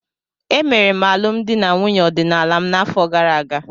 Emere m alụmdi na nwunye ọdịnala m n'afọ gara aga.